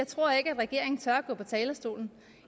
tror at regeringen tør gå på talerstolen